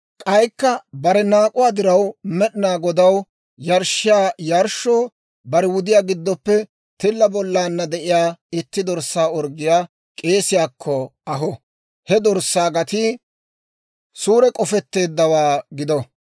K'aykka bare naak'uwaa diraw Med'inaa Godaw yarshshiyaa yarshshoo bare wudiyaa giddoppe tilla bollaanna de'iyaa itti dorssaa orggiyaa k'eesiyaakko aho. He dorssaa gatii suure k'ofetteeddawaa gido.